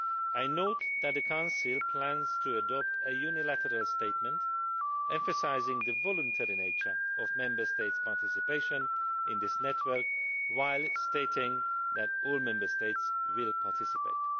I note that the Council plans to adopt a unilateral statement emphasising the voluntary nature of Member States' participation in this network, while stating that all Member States will participate.